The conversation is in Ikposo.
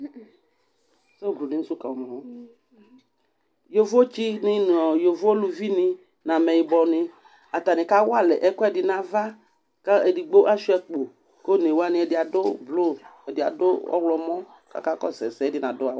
Yovo tsini nʋ ɔɔ yovo luvini n'amɛyibɔni kawalɛ ɛkʋɛdi n''ava kʋ edigbo Asua akpɔ, k'onewani ɛdi adʋ blʋ, adi adʋ ɔɣlɔmɔ k'aka kɔsʋ ɛsɛdi adu a